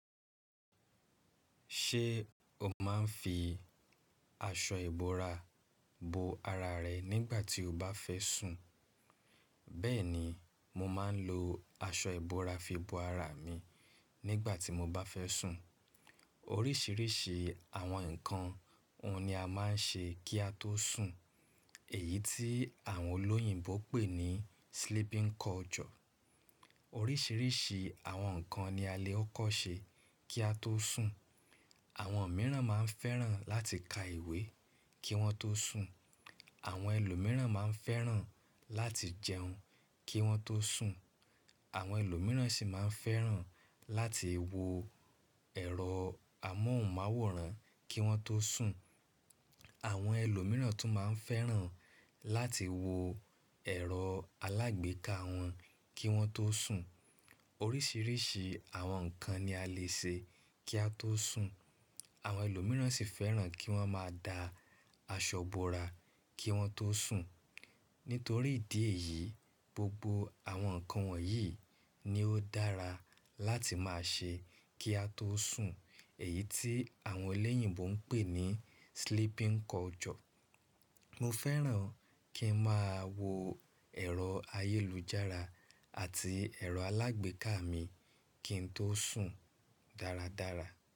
Ṣé o máa ń fi aṣọ ìbora bo ara rẹ nígbà tí o bá fẹ́ sùn? Bẹ́ẹ̀ni, mo máa ń lo aṣọ ìbora fi bo ara mi nígbà tí mo bá fẹ́ sùn. Oríṣìíríṣìí àwọn nǹkan ọ̀ún ni a máa ń ṣe kí a tó sùn èyí tí àwọn olóyìnbo pè ní sleeping culture. Oríṣìíríṣìí àwọn nǹkan ni a lè kọ́kọ́ ṣe kí a tó sùn. Àwọn mìíràn máa ń fẹ́ràn láti ka ìwé kí wọ́n tó sùn. Àwọn ẹlòmíràn máa ń fẹ́ràn láti jẹun kí wọ́n tó sùn. Àwọn ẹlòmíràn sì máa ń fẹ́ràn láti wo ẹ̀rọ amóhùnmáwòrán kí wọ́n tó sùn. Àwọn ẹlòmíràn tún máa ń fẹ́ràn láti wo ẹ̀rọ alágbèéká wọn kí wọ́n tó sùn. Oríṣìíríṣìí àwọn nǹkan ni a lè ṣe kí a tó sùn. Àwọn ẹlòmíràn sì fẹ́ràn kí wọ́n máa da aṣọ ìbora kí wọ́n tó sùn. Nítorí ìdí èyí, gbogbo àwọn nǹkan wọ̀nyí ni ó dára láti máa ṣe kí a tó sùn èyí tí àwọn ẹlẹ́yìnbo ń pè ní sleeping culture. Mo fẹ́ràn kí n máa wo ẹ̀rọ ayélujára àti ẹ̀rọ alágbèéká mi kí n tó sùn dáradára.